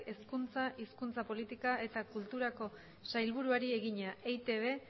hezkuntza hizkuntza politika eta kulturako sailburuari egina eitb